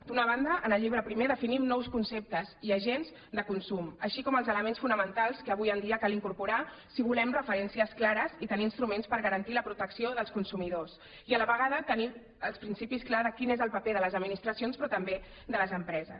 d’una banda en el llibre primer definim nous conceptes i agents de consum així com els elements fonamentals que avui en dia cal incorporar si volem referències clares i tenir instruments per garantir la protecció dels consumidors i a la vegada tenir el principi clar de quin és el paper de les administracions però també de les empreses